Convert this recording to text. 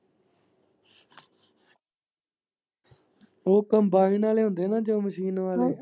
ਓ combine ਆਲੇ ਹੁੰਦੇ ਨਾ ਜੋ ਮਸ਼ੀਨ ਵਾਲੇ।